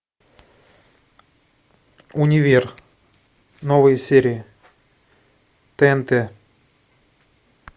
универ новые серии тнт